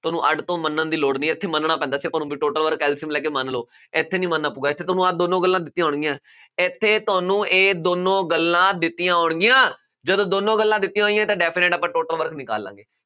ਤੁਹਾਨੂੰ ਅੱਡ ਤੋ ਮੰਨਣ ਦੀ ਲੋੜ ਨਹੀਂ ਹੈ, ਇੱਥੇ ਮੰਨਣਾ ਪੈਂਦਾ ਸੀ, ਆਪਾਂ ਨੂੰ ਬਈ total work LCM ਲੈ ਕੇ ਮੰਨ ਲਉ, ਇੱਥੇ ਨਹੀਂ ਮੰਨਣਾ ਪਊਗਾ, ਇੱਥੇ ਤੁਹਾਨੂੰ ਆਹ ਦੋਨੋਂ ਗੱਲਾਂ ਦਿੱਤੀਆਂ ਹੋਣਗੀਆਂ, ਇੱਥੇ ਤੁਹਾਨੂੰ ਇਹ ਦੋਨੋ ਗੱਲਾਂ ਦਿੱਤੀਆਂ ਹੋਣਗੀਆਂ, ਜਦੋਂ ਦੋਨੋਂ ਗੱਲਾਂ ਦਿੱਤੀਆ ਹੋਈਆਂ, ਤਾਂ definite ਆਪਾਂ total work ਨਿਕਾਲ ਲਾ ਗੇ।